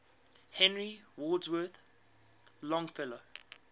henry wadsworth longfellow